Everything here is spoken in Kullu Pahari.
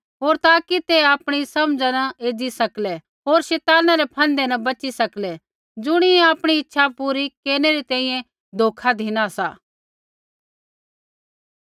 होर ताकि ते आपणी समझ़ा न एज़ी सकलै होर शैताना रै फन्दै न बची सकलै ज़ुणियै आपणी इच्छा पूरी केरनै री तैंईंयैं धोखा धिनु सा